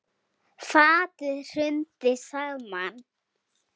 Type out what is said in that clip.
Fatið hrundi saman.